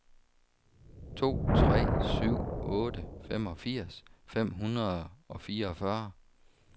to tre syv otte femogfirs fem hundrede og fireogfyrre